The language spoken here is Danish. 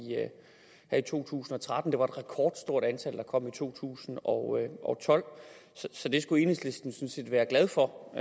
to tusind og tretten og det var et rekordstort antal der kom i to tusind og tolv så det skulle enhedslisten sådan set være glad for